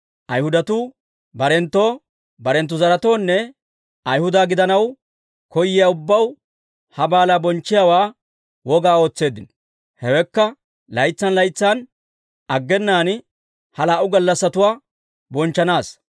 Ayhudatuu barenttoo, barenttu zaretoonne Ayhuda gidanaw koyiyaa ubbaw, ha baalaa bonchchiyaawaa wogaa ootseeddino. Hewekka laytsan laytsan aggenaan ha laa"u gallassatuwaa bonchchanaassa.